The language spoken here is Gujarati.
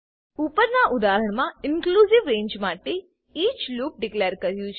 ઉપરના ઉદાહરણમા ઇનક્લુંજીવ રેંજ માટે ઇચ લૂપ ડીકલેર કર્યું છે